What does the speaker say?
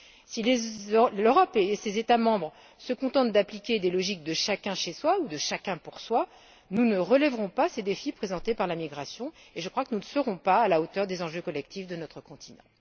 Si l'Europe et ses États membres se contentent d'appliquer des logiques de chacun chez soi ou de chacun pour soi, nous ne relèverons pas ces défis présentés par la migration, et je crois que nous ne serons pas à la hauteur des enjeux collectifs de notre continent.